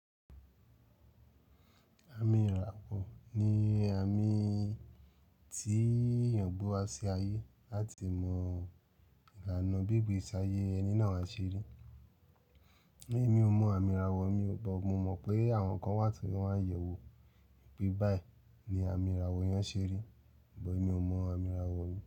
Àmì ìràwọ̀ ni àmì tí èèyàn gbe wa sí ayé láti mọ ìlànà bí ìgbésí ayé ẹni náà ṣe rí. Èmi ò mọ àmì ìràwọ mi ò. Mo mọ̀ pé àwọn kan wà tí wọ́n ma ń yẹ̀ wo pé báyìí ni àmì ìràwọ̀ èèyàn ṣe rí, ṣùgbọ́n èmi ò mọ àmì ìràwọ̀ rí.